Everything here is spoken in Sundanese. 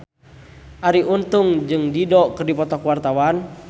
Arie Untung jeung Dido keur dipoto ku wartawan